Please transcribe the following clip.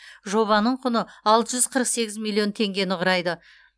жобаның құны алты жүз қырық сегіз миллион теңгені құрайды